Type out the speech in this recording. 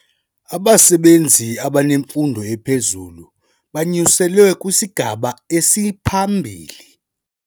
Abasebenzi abanemfundo ephezulu banyuselwe kwisigaba esiphambili.